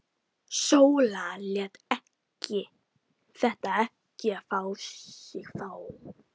Sóla lét þetta ekki á sig fá.